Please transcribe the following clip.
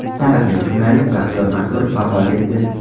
Taniqli jurnalist Baxtiyor Mansurov vafot etdi.